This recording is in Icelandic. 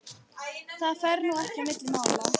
Það fer nú ekki á milli mála